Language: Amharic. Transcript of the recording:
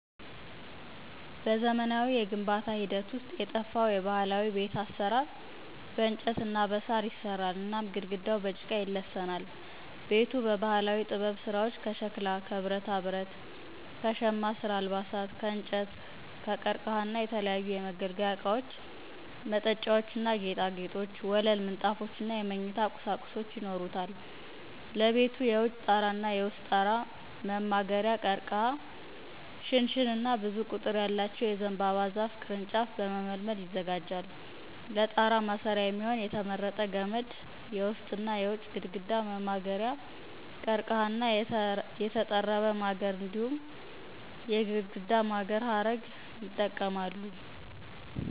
በዘመናዊው የግንባታ ሂደት ውስጥ የጠፋው የባህላዊ የቤት አሰራር በእንጨት እና በሣር ይሰራል እናም ግድግዳው በጭቃ ይለሰናል። ቤቱ በባህላዊ ጥበብ ስራዎች ከሸክላ፣ ከብረታ ብረት፣ ከሻማ ስራ አልባሳት፣ ከእንጨት ከቀርከሃ እና የተለያዩ የመገልገያ እቃዎች መጠጫዎችና ጌጣጌጦች፣ ወለል ምንጣፎችነ የመኝታ ቁሳቁሶች ይኖሩታል። ለቤቱ የውጭ ጠራና የውስጥ ጠራ መማገሪያ ቀርከሃ ሽንሸንና ብዙ ቁጥር ያለው የዘንባባ ዛፍ ቅርንጫፍ በመመልመል ይዘጋጃል። ለጠራ ማስሪያ የሚሆን የተመረጠ ገመድ የውስጥና የውጭ ግድግዳ መማገሪያ ቀርከሃ እና የተጠረበ ማገር እንዲሁም የግድግዳ ማገር ሀረግ ይጠቀማሉ።